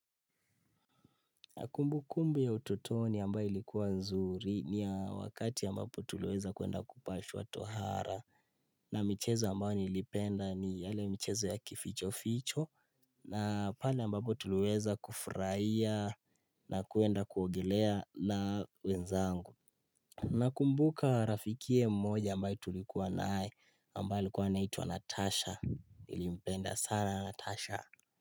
Na kumbukumbu ya utotoni ambayo ilikuwa nzuri ni ya wakati ambapo tuliweza kuenda kupashwa twa hara. Na michezo ambayo nilipenda ni yale michezo ya kificho ficho. Na pale ambapo tuliweza kufurahia na kuenda kuogelea na wenzangu. Na kumbuka rafikie mmoja ambaye tulikuwa naye ambaye ilikuwa anaitwa Natasha nilipenda sana Natasha.